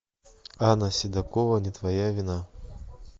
анна седокова не твоя вина